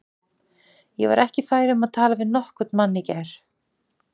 Ég var ekki fær um að tala við nokkurn mann í gær.